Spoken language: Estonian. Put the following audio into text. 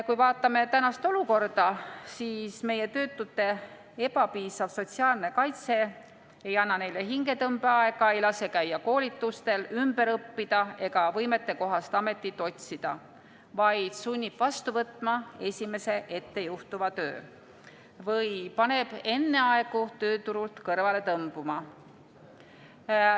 Kui vaatame tänast olukorda, siis meie töötute ebapiisav sotsiaalne kaitse ei anna neile hingetõmbeaega, ei lase käia koolitustel, ümber õppida ega võimetekohast ametit otsida, vaid sunnib vastu võtma esimese ettejuhtuva töö või paneb enneaegu tööturult kõrvale tõmbuma.